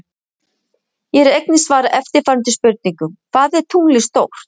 Hér er einnig svarað eftirfarandi spurningum: Hvað er tunglið stórt?